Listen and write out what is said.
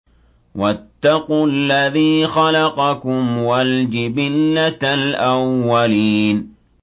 وَاتَّقُوا الَّذِي خَلَقَكُمْ وَالْجِبِلَّةَ الْأَوَّلِينَ